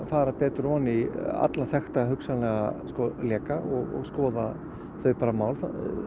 fara ofan í alla hugsanlega leka og skoða þau mál